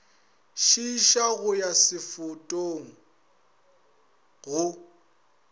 šiiša go ya setofong go